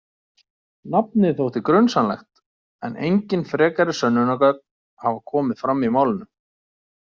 Nafnið þótti grunsamlegt en engin frekari sönnunargögn hafa komið fram í málinu.